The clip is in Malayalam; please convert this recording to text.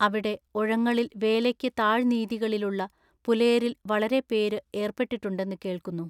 അവിടെ ഒഴങ്ങളിൽ വേലയ്ക്കു താഴ്നീതികളിലുള്ള പുലയരിൽ വളരെ പേര് ഏർപ്പെട്ടിട്ടുണ്ടെന്ന് കേൾക്കുന്നു.